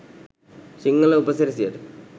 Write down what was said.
සිංහල උපසිරැසියට.